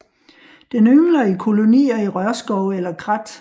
Den yngler i kolonier i rørskove eller krat